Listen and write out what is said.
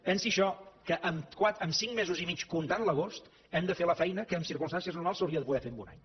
pensi això que amb cinc mesos i mig comptant l’agost hem de fer la feina que en circumstàncies normals s’hauria de poder fer en un any